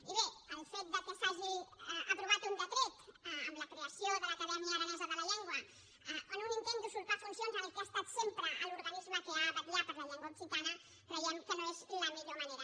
i bé el fet que s’hagi aprovat un decret amb la creació de l’acadèmia aranesa de la llengua en un intent d’usurpar funcions al que ha estat sempre l’organisme que ha de vetllar per la llengua occitana creiem que no és la millor manera